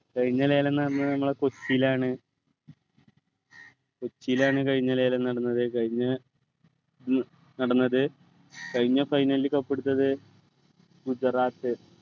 കഴിഞ്ഞ ലേലം നടന്നത് നമ്മളെ കൊച്ചിയിലാണ് കൊച്ചിയിലാണ് കഴിഞ്ഞ ലേലം നടന്നത് കഴിഞ്ഞ നടന്നത് കഴിഞ്ഞ final ലില് cup എടുത്തത് ഗുജറാത്ത്